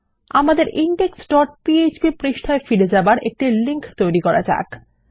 আমাদের index dot PHP পৃষ্ঠায় ফিরে যাবার একটি লিংক তৈরী করা যাক